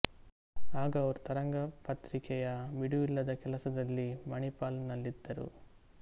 ಆಗ ಅವರು ತರಂಗ ಪತ್ರಿಕೆಯ ಬಿಡುವಿಲ್ಲದ ಕೆಲಸದಲ್ಲಿ ಮಣಿಪಾಲ್ ನಲ್ಲಿದ್ದರು